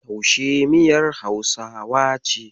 Taushe miyar Hausawa ce.